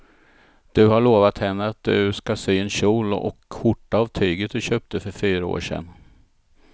Du har lovat henne att du ska sy en kjol och skjorta av tyget du köpte för fyra år sedan.